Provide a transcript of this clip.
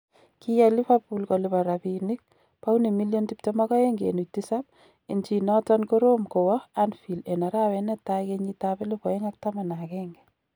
Kiyaiy Liverpool kolipan rabinik pauni milion 22.7 en chi noton korom kowa Anfield en arawet netai kenyiit ab 2011.